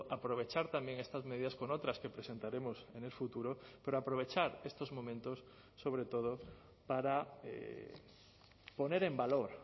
aprovechar también estas medidas con otras que presentaremos en el futuro pero aprovechar estos momentos sobre todo para poner en valor